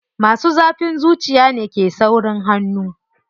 Masu zafin zuciya ne ke saurin hannu.